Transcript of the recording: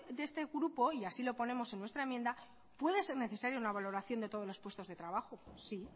de este grupo y así lo ponemos en nuestra enmienda puede ser necesario una valoración de todos los puestos de trabajo sí